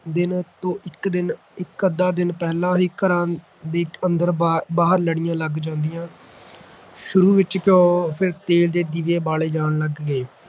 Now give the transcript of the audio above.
ਦਿਨ ਤੋਂ ਇੱਕ ਦਿਨ ਇਕ ਅੱਧਾ ਦਿਨ ਪਹਿਲਾਂ ਹੀ ਘਰਾਂ ਦੇ ਅੰਦਰ ਬਾਹ ਬਾਹਰ ਲੜੀਆਂ ਲੱਗ ਜਾਂਦੀਆਂ ਸ਼ੁਰੂ ਵਿੱਚ ਘਿਓ, ਫਿਰ ਤੇਲ ਦੇ ਦੀਵੇ ਬਾਲੇ ਜਾਣ ਲਗ ਗਏ